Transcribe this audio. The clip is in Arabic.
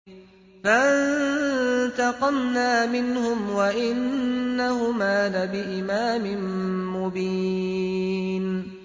فَانتَقَمْنَا مِنْهُمْ وَإِنَّهُمَا لَبِإِمَامٍ مُّبِينٍ